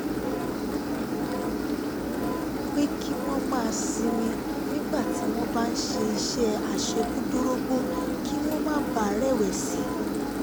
pé um kí wọ́n máa sinmi nígbà tí wọ́n bá um ń ṣe iṣẹ́ àṣekúdórógbó kí wọ́n má bàa rẹ̀wẹ̀sì